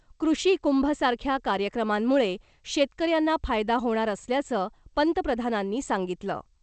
कृषी कुंभ सारख्या कार्यक्रमांमुळे शेतकऱ्यांना फायदा होणार असल्याचं पंतप्रधानांनी सांगितलं .